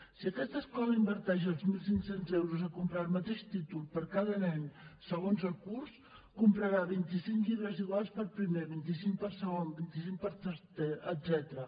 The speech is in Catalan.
si aquesta escola inverteix els mil cinc cents euros a comprar el mateix títol per a cada nen segons el curs comprarà vint cinc llibres iguals per a primer vint cinc per a segon vint cinc per a tercer etcètera